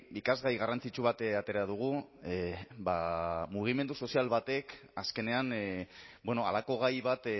ikasgai garrantzitsu bat atera dugu mugimendu sozial batek azkenean halako gai bat